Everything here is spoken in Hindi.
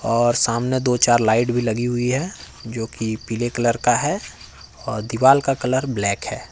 और सामने दो चार लाइट भी लगी हुई है जो की पीले कलर का है और दीवाल का कलर ब्लैक है।